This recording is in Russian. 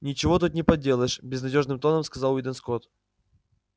ничего тут не поделаешь безнадёжным тоном сказал уидон скотт